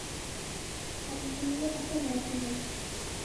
альфие афанасьевой